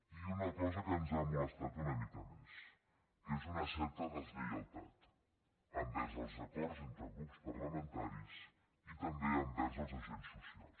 i una cosa que ens ha molestat una mica més que és una certa deslleialtat envers els acords entre grups parlamentaris i també envers els agents socials